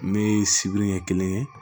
Ne ye sibiri ɲɛ kelen ye